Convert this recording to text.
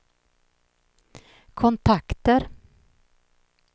kontakter